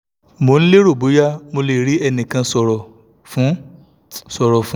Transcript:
mo n lero boya mo le ri enikan soro fun soro fun